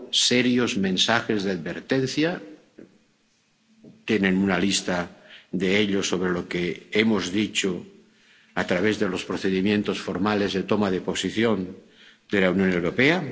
serios mensajes de advertencia —tienen una lista de ello, sobre lo que hemos dicho, a través de los procedimientos formales de toma de posición de la Unión Europea—.